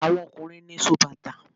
Àwọn ọkùnrin ni sóbàtà.